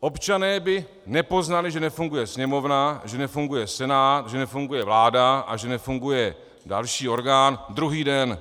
Občané by nepoznali, že nefunguje Sněmovna, že nefunguje Senát, že nefunguje vláda a že nefunguje další orgán, druhý den.